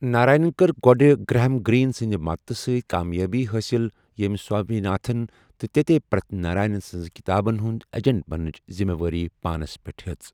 نارینن کٕر گوٚڈٕ Graham Greene سٕندِ مدتہٕ سۭتۍ کامیٲبی حٲصِل ییمہِ سوامی ناتھن تہٕ تیتے پرِتھ ناراین سنزن کِتابن ہُند ایجنٹ بننٕچہِ ذِمہٕ وٲری پانس پٹھ ہِیژ ۔